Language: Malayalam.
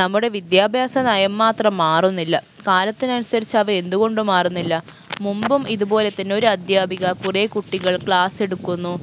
നമ്മുടെ വിദ്യാഭ്യാസ നയം മാത്രം മാറുന്നില്ല കാലത്തിനനുസരിച്ച് അവ എന്തുകൊണ്ട് മാറുന്നില്ല മുമ്പും ഇതുപോലെ തന്നെ ഒരു അദ്ധ്യാപിക കുറേ കുട്ടികൾ class എടുക്കുന്നു